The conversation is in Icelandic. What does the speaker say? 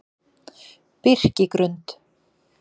Birkigrund